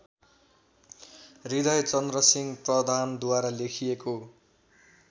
हृदयचन्द्रसिंह प्रधानद्वारा लेखिएको